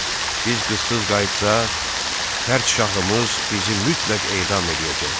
Biz qızsız qayıtsaq, tərşahımız bizi mütləq edam eləyəcək.